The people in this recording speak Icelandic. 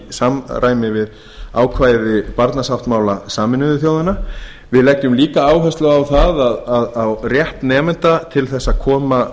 samræmi við ákvæði barnasáttmála sameinuðu þjóðanna við leggjum líka áherslu á rétt nemenda til að koma sjónarmiðum